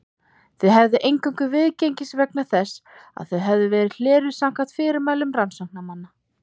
Þau hefðu eingöngu viðgengist vegna þess að þau hefðu verið hleruð samkvæmt fyrirmælum rannsóknarmanna.